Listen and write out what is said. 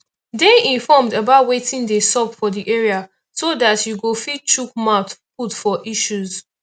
dey informed about wetin dey sup for di area so dat you go fit chook mouth put for issues